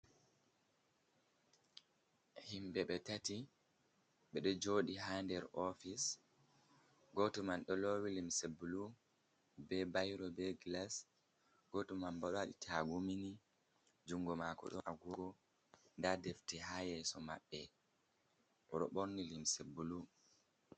Himbe be tati bedo jodi ha der office goto man do lowi limseblu be bairo be glas ,goto man badai tagumini jungo mako do agogo da defte ha yeso mabbe roborni limse bulu.